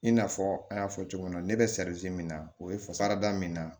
I n'a fɔ an y'a fɔ cogo min na ne bɛ min na o ye fasarada min na